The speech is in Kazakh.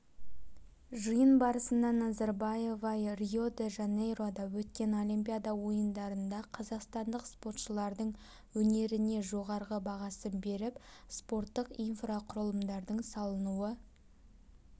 жиын барысында назарбаева рио-де-жанейрода өткен олимпиада ойындарында қазақстандық спортшылардың өнеріне жоғарғы бағасын беріп спорттық инфрақұрылымдардың салынуы